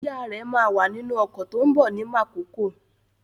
Ìyá rẹ̀ máa wà nínú ọkọ̀ tó ń bọ̀ ní Mákokó.